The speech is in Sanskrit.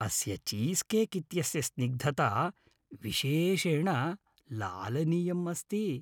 अस्य चीस्केक् इत्यस्य स्निग्धता विशेषेण लालनीयम् अस्ति।